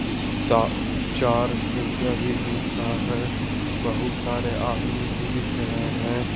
इसका चार खिड़कियां भी दिख रहा है बहुत सारे आदमी भी दिख रहे हैं।